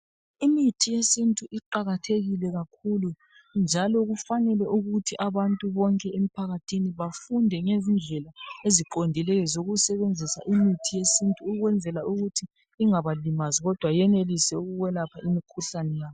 Imithi yesintu iqakathekile kakhulu njalo kufanele ukuthi abantu bonke emphakathini bafunde ngezindlela eziqondileyo zokusebenzisa imithi yesintu ukwenzela ukuthi ingabalimazi kodwa yenelise ukwelapha imikhuhlane yabo.